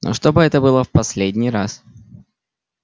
но чтобы это было в последний раз